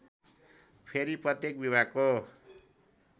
फेरि प्रत्येक विभागको